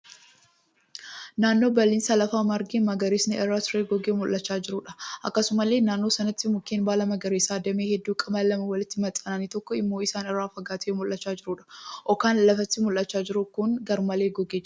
Naannoo bal'eensa lafaa margi magariisni irra turee gogee mul'achaa jiruudha. Akkasumallee naannoo sanatti mukkeen baala magariisaa damee hedduu qaban lama walitti maxxananii tokko immoo isaan irraa fagaatee mul'achaa jiru. Okaan lafatti mul'achaa jiru kun garmalee gogee jira.